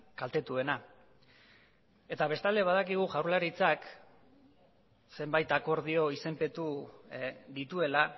kaltetuena eta bestalde badakigu jaurlaritzak zenbait akordio izenpetu dituela